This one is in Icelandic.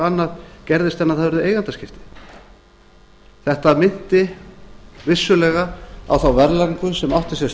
annað gerðist en að það urðu eigendaskipti þetta minnti vissulega á þá verðlagningu sem átti sér